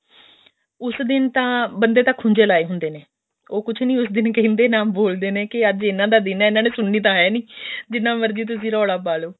ਉਸ ਦਿਨ ਤਾਂ ਬੰਦੇ ਤਾਂ ਖੂੰਜੇ ਲਾਏ ਹੁੰਦੇ ਨੇ ਉਹ ਕੁਝ ਨੀ ਉਸ ਦਿਨ ਕਹਿੰਦੇ ਨਾ ਬੋਲਦੇ ਨੇ ਕੇ ਅੱਜ ਇਹਨਾ ਦਾ ਦਿਨ ਹੈ ਇਹਨਾ ਨੇ ਸੁਣਨੀ ਤਾਂ ਹੈ ਨੀ ਜਿੰਨਾ ਮਰਜ਼ੀ ਤੁਸੀਂ ਰੋਲਾ ਪਾਲੋ